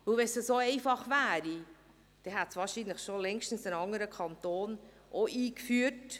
Wenn es so einfach wäre, hätte es wahrscheinlich ein anderer Kanton schon längst auch eingeführt.